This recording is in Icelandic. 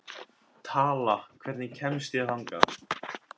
Tala, hvernig kemst ég þangað?